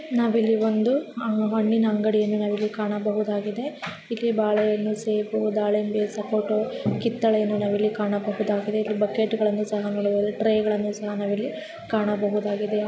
ನಾವಿಲ್ಲಿ ಒಂದು ಅಹ್ ಹಣ್ಣಿನ ಅಂಗಡಿಯನ್ನು ನಾವಿಲ್ಲಿ ಕಾಣಬಹುದಾಗಿದೆ ಇಲ್ಲಿ ಬಾಳೆಹಣ್ಣು ಸೇಬು ದಾಳಿಂಬೆ ಸಪೊಟೋ ಕಿತ್ತಳೆಯನ್ನು ನಾವಿಲ್ಲಿ ಕಾಣಬಹುದಾಗಿದೆ ಇಲ್ಲಿ ಬಕೆಟ್ ಗಳನ್ನ ಸಹ ನೋಡಬಹದು ಟ್ರೈಗಳನ್ನ ಸಹ ನಾವಿಲ್ಲಿ ಕಾಣಬಹುದಾಗಿದೆ.